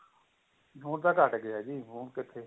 ਹੁਣ ਤਾਂ ਘੱਟ ਗਿਆ ਜੀ ਹੁਣ ਕਿੱਥੇ